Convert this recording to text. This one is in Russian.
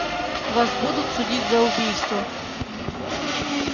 вас будут судить за убийство